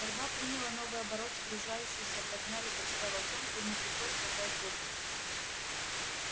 борьба приняла новый оборот сгружающиеся подмяли под себя волчонка и ему пришлось разжать зубы